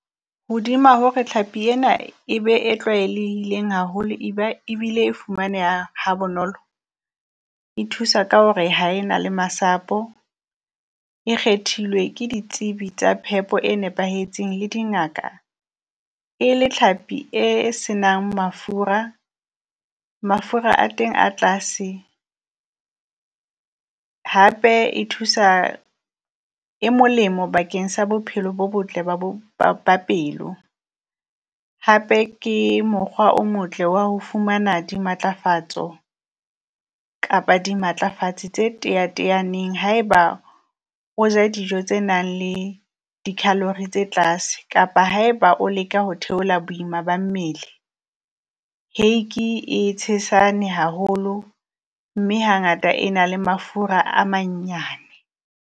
Hodima hore tlhapi ena e be e tlwaelehileng haholo, e ba ebile e fumaneha ha bonolo, e thusa ka hore ha e na le masapo. E kgethilwe ke ditsebi tsa phepo e nepahetseng le dingaka e le tlhapi e senang mafura, mafura a teng a tlase hape e thusa e molemo bakeng sa bophelo bo botle ba bo ba ba pelo. Hape ke mokgwa o motle wa ho fumana di matlafatso kapa di matlafatsi tse teateaneng haeba o ja dijo tse nang le di calory tse tlase, kapa haeba o leka ho theola boima ba mmele. Hake e tshesane haholo mme hangata e na le mafura a manyane.